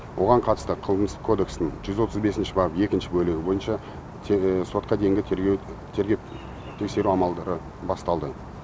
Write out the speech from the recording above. оған қатысты қылмыс кодексінің жүз отыз бесінші бабы екінші бөлігі бойынша сотқа дейінгі тергеп тексеру амалдары басталды